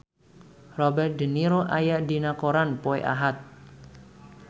Robert de Niro aya dina koran poe Ahad